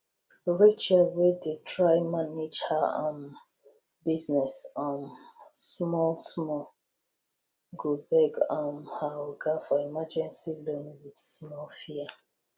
rachel wey dey try manage her um business um small small go beg um her oga for emergency loan with small fear